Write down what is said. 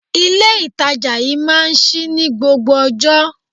Ilé ìtajà yí máa ń ṣí ní gbogbo ọjọ́.